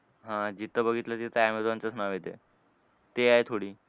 हां जिथं बघितलं तिथं अमॅझॉनचंच नाव येतंय. ते आहे थोडी.